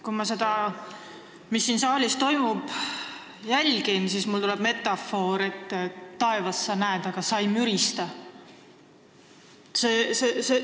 Kui ma jälgin seda, mis siin saalis toimub, siis mul tuleb meelde metafoor "Taevas, sa näed, aga sa ei mürista!".